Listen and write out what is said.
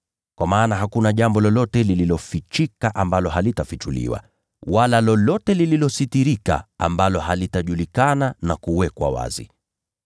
Kwa maana hakuna jambo lolote lililofichika ambalo halitafichuliwa, wala lolote lililositirika ambalo halitajulikana na kuwekwa wazi.